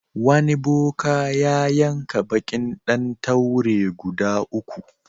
Wani boka ya yanka baƙin ɗan taure guda uku.